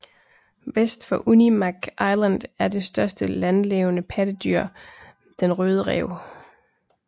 Vest for Unimak Island er det største lanlevende pattedyr den røde ræv